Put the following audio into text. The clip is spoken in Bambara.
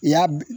I y'a